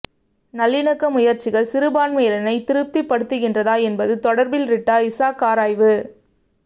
நல்லிணக்க முயற்சிகள் சிறுபான்மையினரை திருப்திப்படுத்துகின்றதா என்பது தொடர்பில் றிட்டா இசாக் ஆராய்வு